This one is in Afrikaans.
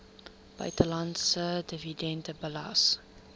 buitelandse dividende belas